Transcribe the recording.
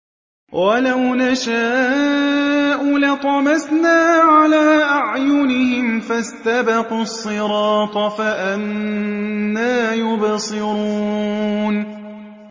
وَلَوْ نَشَاءُ لَطَمَسْنَا عَلَىٰ أَعْيُنِهِمْ فَاسْتَبَقُوا الصِّرَاطَ فَأَنَّىٰ يُبْصِرُونَ